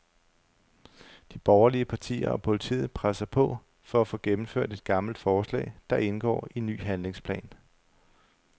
De borgerlige partier og politiet presser på for at få gennemført et gammelt forslag, der indgår i ny handlingsplan.